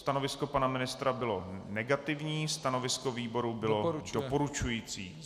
Stanovisko pana ministra bylo negativní, stanovisko výboru bylo doporučující.